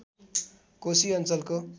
कोशी अञ्चलको